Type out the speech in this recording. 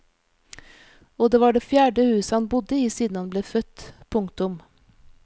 Og det var det fjerde huset han bodde i siden han ble født. punktum